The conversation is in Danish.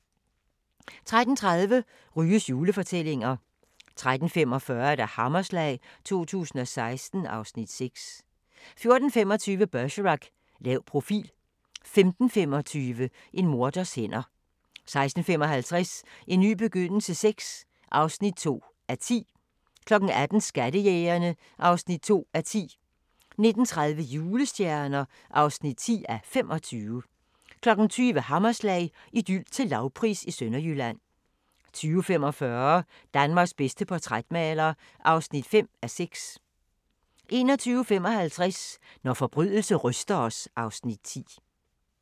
13:30: Ryges julefortællinger 13:45: Hammerslag 2016 (Afs. 6) 14:25: Bergerac: Lav profil 15:25: En morders hænder 16:55: En ny begyndelse VI (2:10) 18:00: Skattejægerne (2:10) 19:30: Julestjerner (10:25) 20:00: Hammerslag – Idyl til lavpris i Sønderjylland 20:45: Danmarks bedste portrætmaler (5:6) 21:55: Når forbrydelse ryster os (Afs. 10)